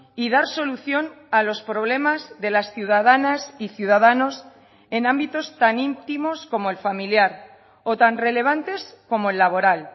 y dar solución a los problemas de las ciudadanas y ciudadanos en ámbitos tan íntimos como el familiar o tan relevantes como el laboral